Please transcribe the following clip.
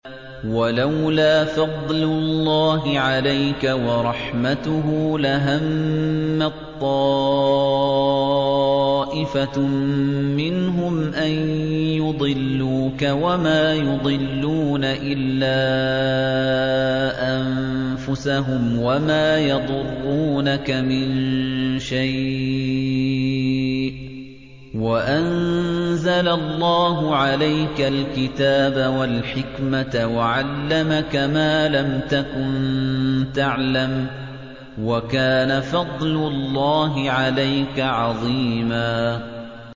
وَلَوْلَا فَضْلُ اللَّهِ عَلَيْكَ وَرَحْمَتُهُ لَهَمَّت طَّائِفَةٌ مِّنْهُمْ أَن يُضِلُّوكَ وَمَا يُضِلُّونَ إِلَّا أَنفُسَهُمْ ۖ وَمَا يَضُرُّونَكَ مِن شَيْءٍ ۚ وَأَنزَلَ اللَّهُ عَلَيْكَ الْكِتَابَ وَالْحِكْمَةَ وَعَلَّمَكَ مَا لَمْ تَكُن تَعْلَمُ ۚ وَكَانَ فَضْلُ اللَّهِ عَلَيْكَ عَظِيمًا